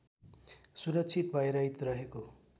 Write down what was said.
सुरक्षित भयरहित रहेको